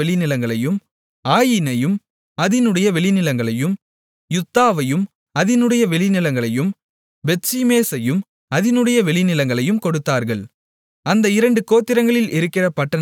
ஆயீனையும் அதினுடைய வெளிநிலங்களையும் யுத்தாவையும் அதினுடைய வெளிநிலங்களையும் பெத்ஷிமேசையும் அதினுடைய வெளிநிலங்களையும் கொடுத்தார்கள் அந்த இரண்டு கோத்திரங்களில் இருக்கிற பட்டணங்கள் ஒன்பது